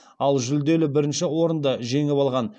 ал жүлделі бірінші орынды жеңіп алған